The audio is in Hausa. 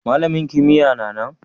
Malamin kimiyya'n na nan?